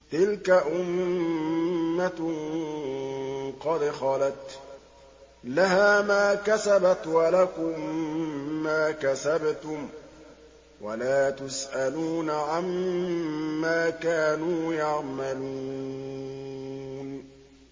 تِلْكَ أُمَّةٌ قَدْ خَلَتْ ۖ لَهَا مَا كَسَبَتْ وَلَكُم مَّا كَسَبْتُمْ ۖ وَلَا تُسْأَلُونَ عَمَّا كَانُوا يَعْمَلُونَ